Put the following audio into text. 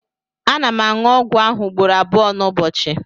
ana m aṅụ ọgwụ ahụ ugboro abụọ n'ụbọchị